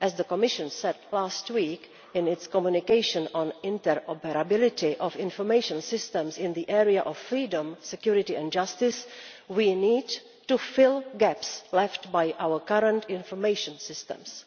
As the Commission said last week in its Communication on interoperability of information systems in the area of freedom, security and justice, we need to fill the gaps left by our current information systems,